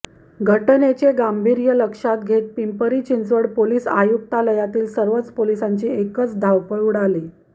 घटनेचे गांभीर्य लक्षात घेत पिंपरी चिंचवड पोलीस आयुक्तालयातील सर्वच पोलिसांची एकच धावपळ उडाली